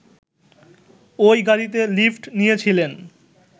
ওই গাড়িতে লিফট নিয়েছিলেন